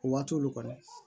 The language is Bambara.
O waati olu kɔni